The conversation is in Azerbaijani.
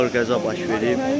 Ağır qəza baş verib.